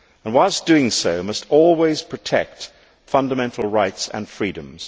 Whilst doing so, we must always protect fundamental rights and freedoms.